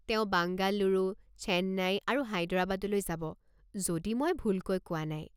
তেওঁ বাঙ্গালুৰু, চেন্নাই আৰু হায়দৰাবাদলৈ যাব, যদি মই ভুলকৈ কোৱা নাই।